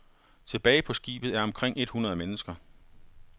Tilbage på skibet er omkring et hundrede mennesker.